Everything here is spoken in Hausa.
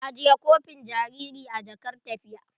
Ajiye kofin jariri a jakar tafiya.